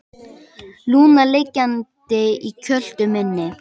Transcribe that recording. Lúna liggjandi í kjöltu minni.